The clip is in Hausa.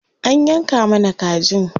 An yanka mana kajin.